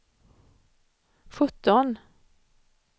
sjutton